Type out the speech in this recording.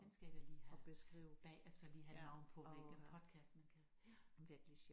Den skal jeg da lige have bagefter lige have et navn på hvilken podcast man kan